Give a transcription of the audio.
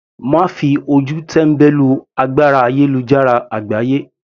Má fi ojú tẹ́mbẹ́lú agbára ayélujára àgbáyé.